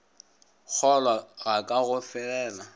kgolwa ga ka go felela